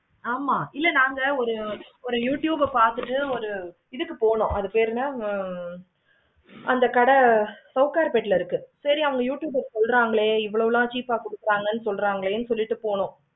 ஆமா இல்ல நாங்க ஒரு youtube பார்த்துட்டு இதுக்கு போனும் அது பேரு என்ன அந்த கடை சௌக்கரு பெட்டுல இருக்கு. அந்த youtuber சொல்றாங்களே அந்த அளவு cheap ஆஹ் கொடுக்குறாங்களே சொல்ராங்க சொல்லிட்டு போனும்.